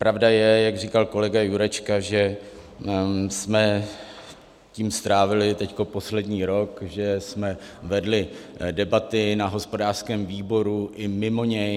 Pravda je, jak říkal kolega Jurečka, že jsme tím strávili teď poslední rok, že jsme vedli debaty na hospodářském výboru i mimo něj.